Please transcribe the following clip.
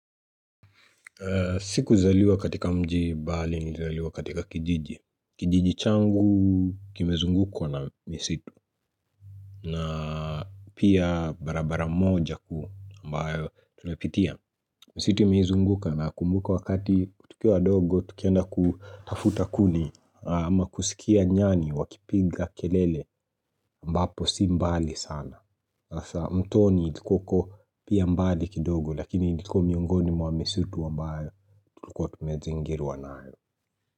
Sikuzaliwa katika mji bali nilizaliwa katika kijiji. Kijiji changu kimezungukwa na misitu. Na pia barabara moja kuu ambayo tunapitia. Misitu imezunguka nakumbuka wakati tukiwa wadogo tukienda kutafuta kuni ama kusikia nyani wakipiga kelele ambapo si mbali sana. Hasa mtoni ilikuwa uko pia mbali kidogo lakini ilikuwa miongoni mwa misitu ambayo tulikuwa tumezingirwa nayo.